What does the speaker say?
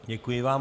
Děkuji vám.